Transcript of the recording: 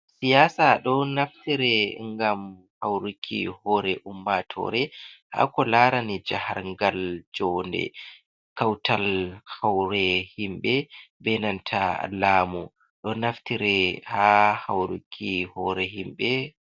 Siyasa ɗon naftire ngam hauruki hore ummatore ha ko larani jaharngal jonde kautal hore himɓe, be nanta lamu. Ɗon naftire ha hauruki hore himɓe.